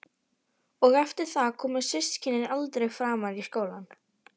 Og eftir það koma systkinin aldrei framar í leikskólann.